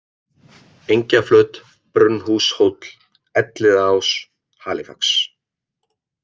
Engjaflöt, Brunnhúshóll, Elliðaás, Halifax